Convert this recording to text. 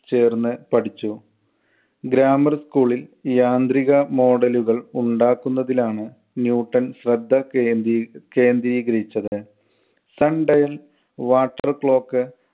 ചേർന്ന് പഠിച്ചു. grammar school ൽ യാന്ത്രിക model കൾ ഉണ്ടാക്കുന്നതിൽ ആണ് ന്യൂട്ടൻ ശ്രദ്ധ കേന്ദ്രീ~ കേന്ദ്രീകരിച്ചത്. sundial, water clock